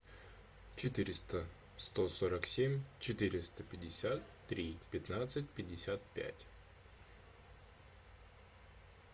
четыреста сто сорок семь четыреста пятьдесят три пятнадцать пятьдесят пять